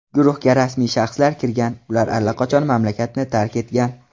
Guruhga rasmiy shaxslar kirgan, ular allaqachon mamlakatni tark etgan.